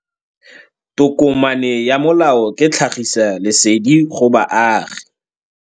Tokomane ya molao ke tlhagisi lesedi go baagi.